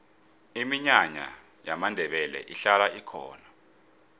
iminyanya yamandebele ihlala ikhona